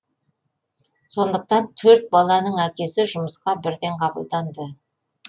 сондықтан төрт баланың әкесі жұмысқа бірден қабылданды